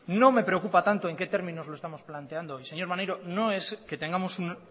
no me preocupa tanto en qué términos lo estamos planteando y señor maneiro no es que tengamos un